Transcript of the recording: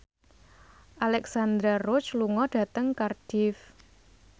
Alexandra Roach lunga dhateng Cardiff